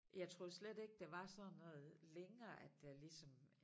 Jeg troede slet ikke der var sådan noget længere at der ligesom